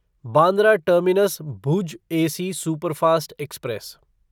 Bandra terminus Bhuj AC superfast express